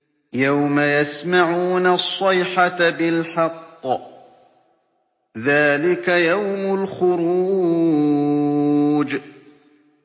يَوْمَ يَسْمَعُونَ الصَّيْحَةَ بِالْحَقِّ ۚ ذَٰلِكَ يَوْمُ الْخُرُوجِ